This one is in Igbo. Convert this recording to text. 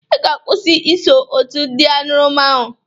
Ị ga-akwusị iso otu ndị añụrụma ahụ!